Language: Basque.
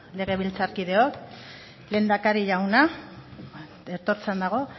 legebiltzarkideok lehendakari jauna etortzean dago